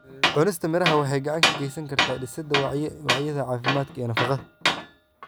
Cunista miraha waxay gacan ka geysan kartaa dhisidda wacyiga caafimaadka iyo nafaqada.